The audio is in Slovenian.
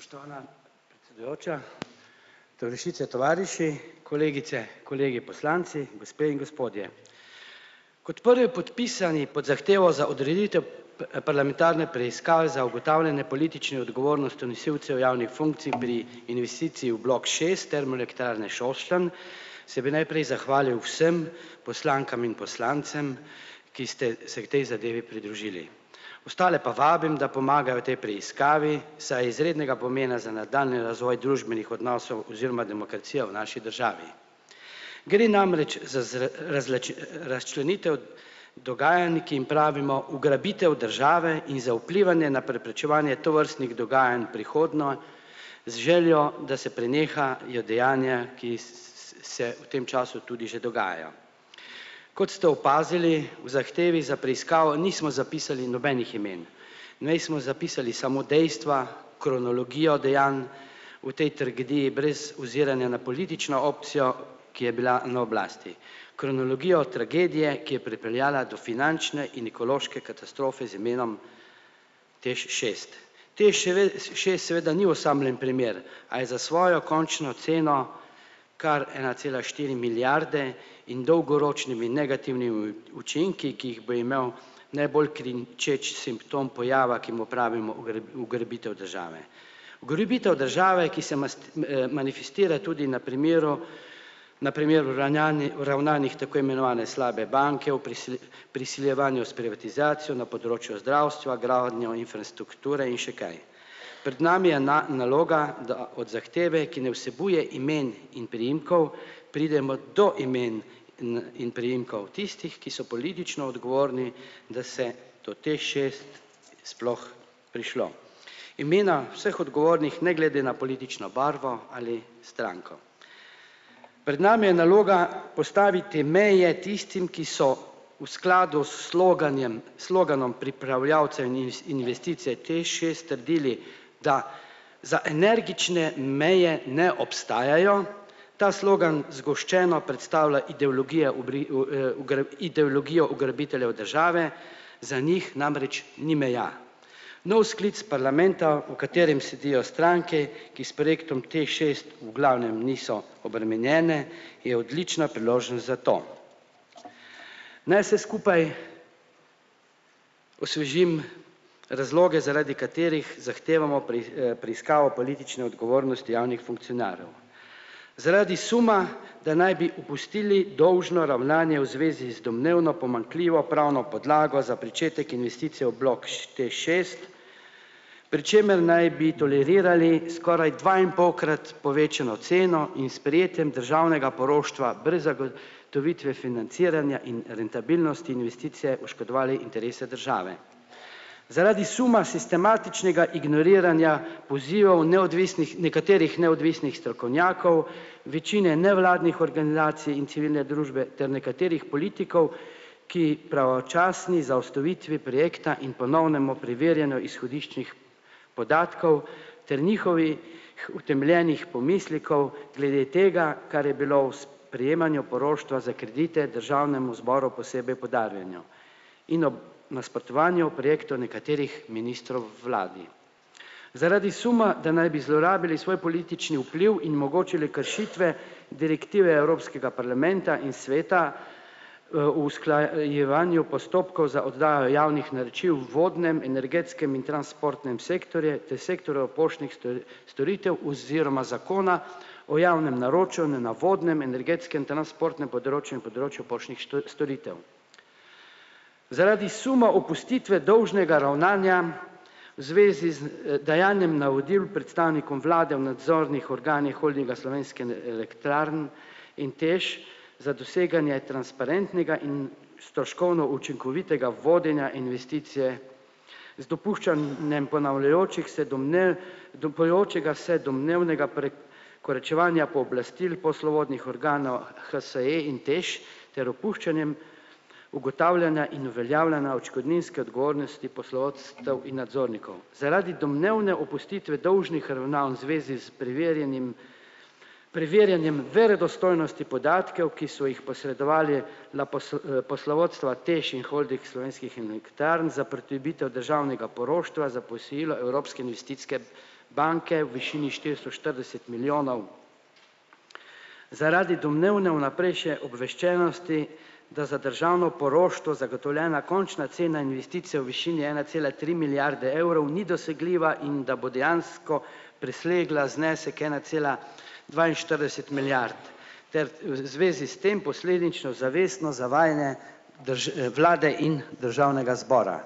Spoštovana predsedujoča, tovarišice, tovariši, kolegice, kolegi poslanci in gospe in gospodje. Kot prvi podpisani pod zahtevo za odreditev parlamentarne preiskave za ugotavljanje politične odgovornosti nosilcev javnih funkcij pri investiciji v bloku šest Termoelektrarne Šoštanj se bi najprej zahvalil vsem poslankam in poslancem, ki ste se k tej zadevi pridružili. Ostale pa vabim, da pomagajo v tej preiskavi, saj je izrednega pomena za nadaljnji razvoj družbenih odnosov oziroma demokracije v naši državi. Gre namreč za razčlenitev dogajanj, ki jim pravimo ugrabitev države in za vplivanje na preprečevanje tovrstnih dogajanj prihodnje z željo, da se prenehajo dejanja, ki se v tem času tudi že dogajajo. Kot se opazili, v zahtevi za preiskavo nismo zapisali nobenih imen, nismo zapisali samo dejstva, kronologijo dejanj v tej tragediji brez oziranja na politično opcijo, ki je bila na oblasti. Kronologija tragedije, ki je pripeljala do finančne in ekološke katastrofe z imenom TEŠ šest. TEŠ šest seveda ni osamljen primer, a je za svojo končno ceno kar ena cela štiri milijarde in dolgoročnimi in negativnimi učinki, ki jih bo imel, ne bolj kričeč simptom pojava, ki mu pravimo ugrabitev države. Ugrabitev države, ki se manifestirala tudi na primeru na primeru uravnanih tako imenovane slabe banke v prisiljevanju s privatizacijo na področju zdravstva, gradnjo infrastrukture in še kaj. Pred nami je naloga, da od zahteve, ki ne vsebuje imen in priimkov, pridemo do imen in priimkov tistih, ki so politično odgovorni, da se do TEŠ šest sploh prišlo. Imena vseh odgovornih ne glede na politično barvo ali stranko. Pred nami je naloga postaviti meje tistim, ki so v skladu s sloganjem sloganom pripravljavce investicije TEŠ šest trdili, da za energične meje ne obstajajo, ta slogan zgoščeno predstavlja ideologije v ideologija ugrabiteljev države za njih namreč ni meja. Nov sklic parlamenta, v katerem sedijo stranke, ki s projektom TEŠ šest v glavnem niso obremenjene, je odlična priložnost za to. Naj se skupaj osvežim razloge, zaradi katerih zahtevamo preiskavo politične odgovornosti javnih funkcionarjev. Zaradi suma, da naj bi opustili dolžno ravnanje v zvezi domnevno pomanjkljivo pravno podlago za pričetek investicije v bloku TEŠ šest, pri čemer naj bi tolerirali skoraj dvainpolkrat povečano ceno in s sprejetjem državnega poroštva brez zago tovitve financiranja in rentabilnosti investicije oškodovale interese države. Zaradi suma sistematičnega ignoriranja polzijo v neodvisnih nekaterih neodvisnih strokovnjakov, večine nevladnih organizacij in civilne družbe ter nekaterih politikov, ki pravočasni zaustavitvi projekta in ponovnemu preverjanju izhodiščnih podatkov ter njihovih utemeljenih pomislekov glede tega, kar je bilo v sprejemanju poroštva za kredite državnemu zboru posebej poudarjeno. In ob nasprotovanju projektov nekaterih ministrov vladi. Zaradi suma, da naj bi zlorabili svoj politični vpliv in mogoče le kršitve direktive evropskega parlamenta in sveta, v usklajevanju postopkov za oddajo javnih naročil v vodnem, energetskem in transportnem sektorju ter sektor v poštnih storitev oziroma zakona o javnem naročanju na vodnem, energetskem, transportnem področju in področju poštnih storitev. Zaradi suma opustitve dolžnega ravnanja zvezi z, dajanjem navodil predstavnikom vlade v nadzornih organih Holdinga Slovenske, elektrarne in TEŠ za doseganje transparentnega in stroškovno učinkovitega vodenja investicije z dopuščanjem ponavljajočih se domnev dupajočega se domnevnega pre- koračevanja pooblastil poslovodnih organov HSE in TEŠ ter opuščanjem ugotavljanja in uveljavljanja odškodninske odgovornosti poslovodstev in nadzornikov. Zaradi domnevne opustitve dolžnih ravnanj zvezi s preverjenim preverjanjem verodostojnosti podatkov, ki so jih posredovali na poslovodstva TEŠ in Holding Slovenskih Elektrarn za pridobitev državnega poroštva za posojilo Evropske investicijske banke v višini štiristo štirideset milijonov. Zaradi domnevne vnaprejšnje obveščenosti, da za državno poroštvo zagotovljena končna cena investicije v višini ena cela tri milijarde evrov ni dosegljiva in da bo dejansko presegla znesek ena cela dvainštirideset milijarde ter v zvezi s tem posledično zavestno zavajanje vlade in državnega zbora.